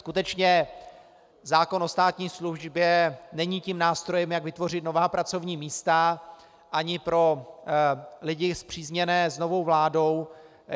Skutečně zákon o státní službě není tím nástrojem, jak vytvořit nová pracovní místa, ani pro lidi spřízněné s novou vládou.